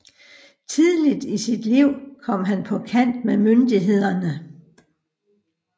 Tidligt i sit liv kom han på kant med myndighederne